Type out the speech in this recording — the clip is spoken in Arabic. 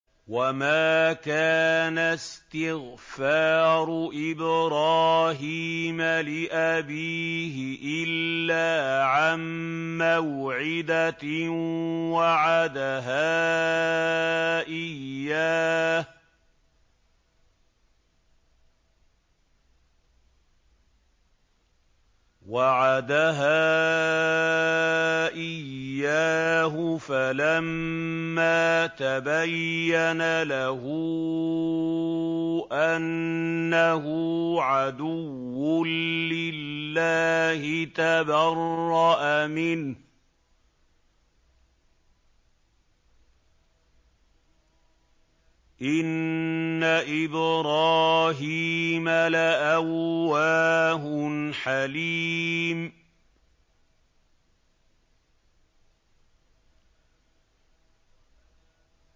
وَمَا كَانَ اسْتِغْفَارُ إِبْرَاهِيمَ لِأَبِيهِ إِلَّا عَن مَّوْعِدَةٍ وَعَدَهَا إِيَّاهُ فَلَمَّا تَبَيَّنَ لَهُ أَنَّهُ عَدُوٌّ لِّلَّهِ تَبَرَّأَ مِنْهُ ۚ إِنَّ إِبْرَاهِيمَ لَأَوَّاهٌ حَلِيمٌ